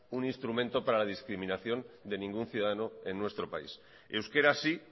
un instrumento para la discriminación de ningún ciudadano en nuestro país euskera si